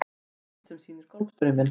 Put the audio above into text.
Mynd sem sýnir Golfstrauminn.